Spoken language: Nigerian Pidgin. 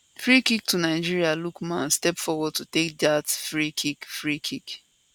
free kick to nigeria lookman step forward to take dat free kick free kick